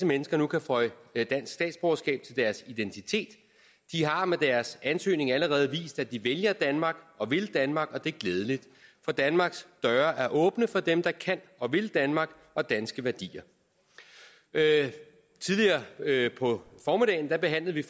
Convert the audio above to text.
mennesker kan føje dansk statsborgerskab til deres identitet de har med deres ansøgning allerede vist at de vælger danmark og vil danmark og det er glædeligt for danmarks døre er åbne for dem der kan og vil danmark og danske værdier tidligere på formiddagen behandlede vi